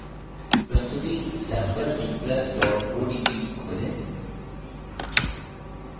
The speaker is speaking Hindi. प्रस्तुति sampleimpress odp खोलें